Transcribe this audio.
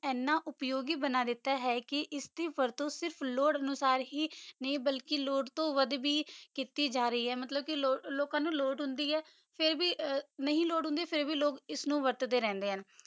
ਏਨਾ ਉਪਯੋਗੀ ਬਣਾ ਦਿਤਾ ਹੈ ਕੇ ਏਸ ਕੀ ਵਾਰੁਟ ਸਿਰਫ ਲੋਰਰ ਅਨੁਸਾਰ ਹੀ ਨਹੀ ਬਾਲਕੀ ਲੋਰਰ ਤੋਂ ਵਾਦ ਵੀ ਕੀਤੀ ਜਾ ਰਹੀ ਆਯ ਮਤਲਬ ਕੇ ਲੋਕਾਂ ਨੂ ਲੋਰਰ ਹੁੰਦੀ ਆਯ ਫੇਰ ਵੀ ਨਹੀ ਲੋਰਰ ਹੁੰਦੀ ਫੇਰ ਵੀ ਲੋਕ ਏਨੁ ਵਾਰ੍ਤ੍ਟੀ ਰੇਹ੍ਨ੍ਡੇ ਹਨ